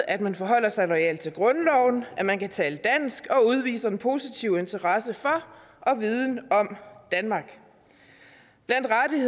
at man forholder sig loyalt til grundloven at man kan tale dansk og udviser en positiv interesse for og viden om danmark